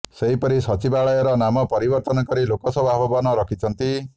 ସେହିପରି ସଚିବାଳୟର ନାମ ପରିବର୍ତ୍ତନ କରି ଲୋକସେବା ଭବନ ରଖିଛନ୍ତି